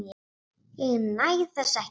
Ég næ þessu ekki.